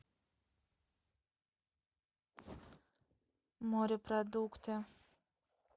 морепродукты